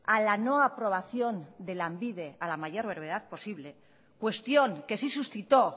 a la no aprobación de lanbide a la mayor brevedad posible cuestión que sí suscitó